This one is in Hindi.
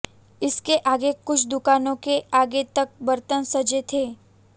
इसके आगे कुछ दुकानों के आगे तक बर्तन सजे थे